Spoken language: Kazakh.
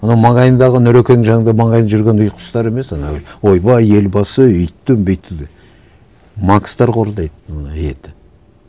анау маңайындағы нұрекеңнің жанында маңайында жүрген ұйқы ұстар емес анау бір ойбай елбасы өйтті бүйтті деп макстар корғайды ана елді